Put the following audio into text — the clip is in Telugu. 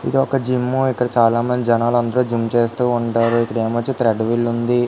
ఏది ఒక జిమ్ ఇక్కడాయికి చాలా మంది జనాలు వచ్చి జిమ్ చేస్తుంటారు ఇక్కడ వచ్చి త్రేయడ్ విల్ ఉనాది.